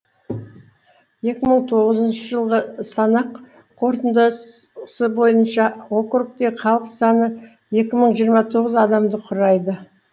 екі мың тоғызыншы жылғы санақ қорытындыс бойынша округтегі халық саны екі мың жиырма тоғыз адамды құрайды